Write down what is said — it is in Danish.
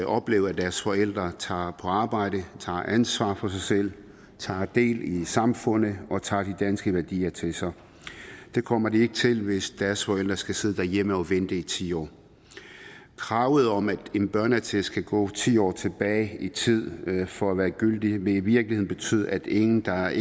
opleve at deres forældre tager på arbejde tager ansvar for sig selv tager del i samfundet og tager de danske værdier til sig det kommer de ikke til hvis deres forældre skal sidde derhjemme og vente i ti år kravet om at en børneattest kan gå ti år tilbage i tid for at være gyldig vil i virkeligheden betyde at ingen der